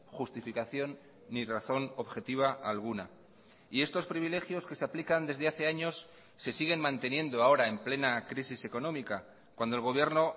justificación ni razón objetiva alguna y estos privilegios que se aplican desde hace años se siguen manteniendo ahora en plena crisis económica cuando el gobierno